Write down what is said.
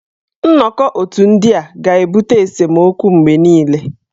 Nnọkọ otù ndị a ga-ebute esemokwu mgbe niile.